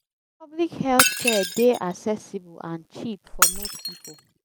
public health care dey accessible and cheap for most people